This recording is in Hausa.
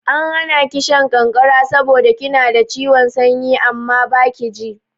An hana ki shan ƙanƙara saboda kina da ciwon sanyi amma baki ji.